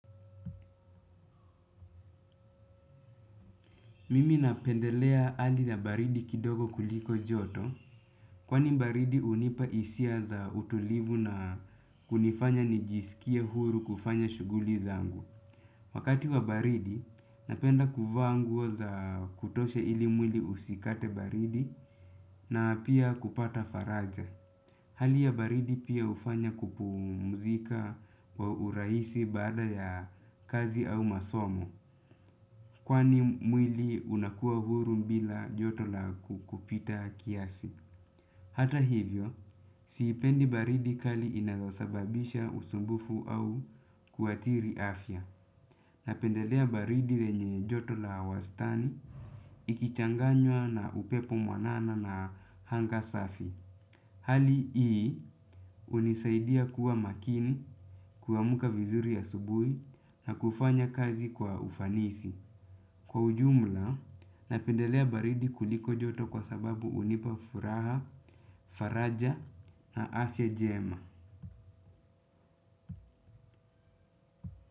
Mimi napendelea hali ya baridi kidogo kuliko joto kwani baridi hunipa hisia za utulivu na kunifanya nijisikie huru kufanya shughuli zangu. Wakati wa baridi napenda kuvaa nguo za kutosha ili mwili usikate baridi na pia kupata faraja. Hali ya baridi pia hufanya kupumzika kwa urahisi baada ya kazi au masomo. Kwani mwili unakua huru bila joto la kupita kiasi. Hata hivyo, siipendi baridi kali inayosababisha usumbufu au kuathiri afya. Napendelea baridi lenye joto la wastani, ikichanganywa na upepo mwanana na anga safi. Hali hii hunisaidia kuwa makini, kuamka vizuri asubuhi na kufanya kazi kwa ufanisi. Kwa ujumla, napendelea baridi kuliko joto kwa sababu hunipa furaha, faraja na afya njema.